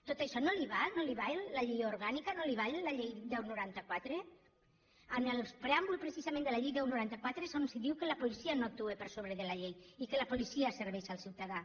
tot això no li val no li val la llei orgànica no li val la llei deu noranta quatre en el preàmbul precisament de la llei deu noranta quatre és on es diu que la policia no actua per sobre de la llei i que la policia serveix al ciutadà